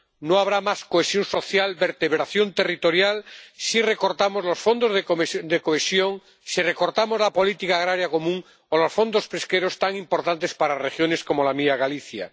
No habrá más cohesión social ni vertebración territorial si recortamos los fondos de cohesión, si recortamos la política agrícola común o los fondos pesqueros, tan importantes para regiones como la mía, Galicia.